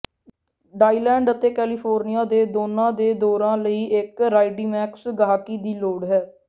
ਡਾਈਡਲੈਂਡ ਅਤੇ ਕੈਲੀਫੋਰਨੀਆ ਦੇ ਦੋਨਾਂ ਦੇ ਦੌਰੇ ਲਈ ਇਕ ਰਾਈਡਮੈਕਸ ਗਾਹਕੀ ਦੀ ਲੋੜ ਹੈ